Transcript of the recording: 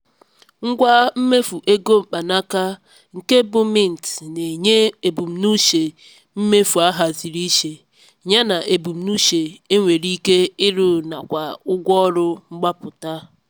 ngwa mmefu ego mkpanaka nke bụ mint na-enye ebumnuche mmefu ahaziri iche ya na ebumnuche enwere ike iru na kwa ụgwọ ọrụ mgbapụta.